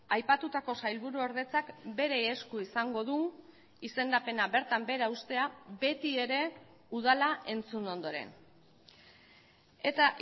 aipatutako sailburuordetzak bere esku izango du izendapena bertan behera uztea beti ere udala entzun ondoren eta